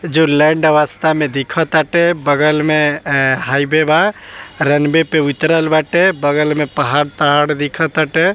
जो लैंड अवस्था मे दिखा ताटे | बगल मे हाईवे बा रनवे पे उतरल बाटे | बगल में पहाड़ तहाड दिखा ताटे |